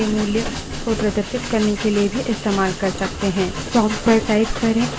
echo command को हम variable के मूल्य को प्रदर्शित करने के लिए भी इस्तेमाल कर सकते हैं